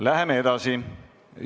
Läheme edasi.